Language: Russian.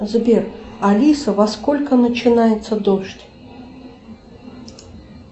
сбер алиса во сколько начинается дождь